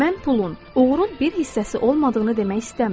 Mən pulun, uğurun bir hissəsi olmadığını demək istəmirəm.